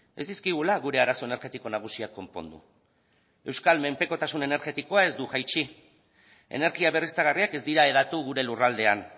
ez dizkigula gure arazo energetiko nagusiak konpondu euskal menpekotasun energetikoa ez du jaitsi energia berriztagarriak ez dira hedatu gure lurraldean